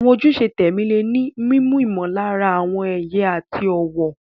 Àwọn ojúṣe tẹ̀mí lè ní mímú ìmọ̀lára àwọn iye àti ọ̀wọ̀.